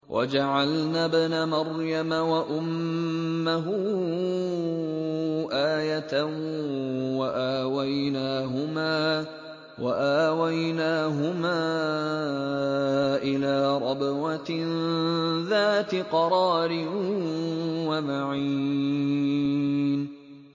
وَجَعَلْنَا ابْنَ مَرْيَمَ وَأُمَّهُ آيَةً وَآوَيْنَاهُمَا إِلَىٰ رَبْوَةٍ ذَاتِ قَرَارٍ وَمَعِينٍ